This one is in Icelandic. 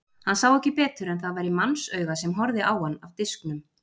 Hann sá ekki betur en að það væri mannsauga sem horfði á hann af disknum.